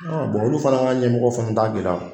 olu fana ka ɲɛmɔgɔ fana t'a gɛlɛya